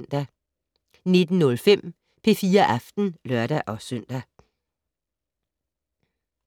19:05: P4 Aften (lør-søn)